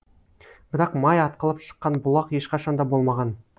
бірақ май атқылап шыққан бұлақ ешқашан да болмаған